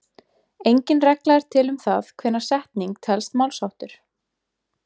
Engin regla er til um það hvenær setning telst málsháttur.